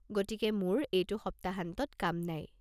গতিকে মোৰ এইটো সপ্তাহান্তত কাম নাই।